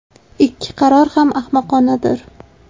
Ikki qaror ham ahmoqonadir.